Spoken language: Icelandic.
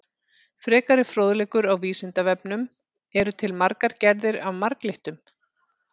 Frekari fróðleikur á Vísindavefnum: Eru til margar gerðir af marglyttum?